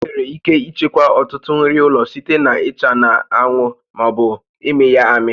Enwere ike ichekwa ọtụtụ nri ụlọ site na ịcha na-anwụ ma ọ bụ ịmị ya amị